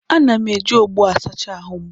Ana m eji ogbó asacha ahụ m.